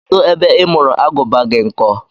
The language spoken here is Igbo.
Kedụ ebe ị mụrụ Agụba gị nkọ?